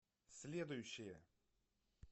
следующая